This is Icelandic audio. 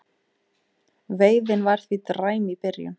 Veiðin var því dræm í byrjun